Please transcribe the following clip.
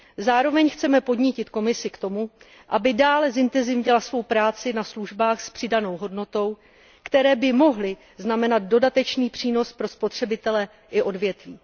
Zároveň chceme podnítit Komisi k tomu, aby dále zintenzívnila svou práci na službách s přidanou hodnotou, které by mohly znamenat dodatečný přínos pro spotřebitele i odvětví.